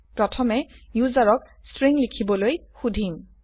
প্ৰথমে ইউজাৰক স্ট্ৰিং লিখিবলৈ সোধিম